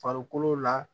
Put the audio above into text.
Farikolo la